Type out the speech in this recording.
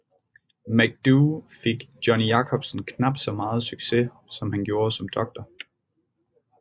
MacDoo fik Jonny Jakobsen knap så meget success som han gjorde som Dr